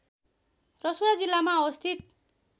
रसुवा जिल्लामा अवस्थित